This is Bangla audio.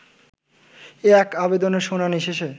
এক আবেদনের শুনানি শেষে